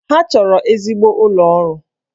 Ha chọrọ ezigbo ụlọ ọrụ